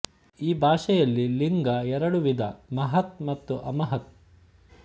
ಈ ಭಾಷೆಯಲ್ಲಿ ಲಿಂಗ ಎರಡು ವಿಧ ಮಹತ್ ಮತ್ತು ಅಮಹತ್